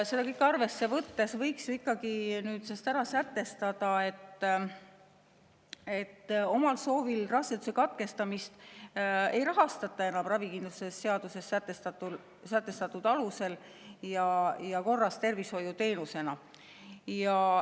Seda kõike arvesse võttes võiks ju ikkagi sätestada, et omal soovil raseduse katkestamist ei rahastata enam ravikindlustuse seaduses sätestatud alusel ja korras tervishoiuteenusena.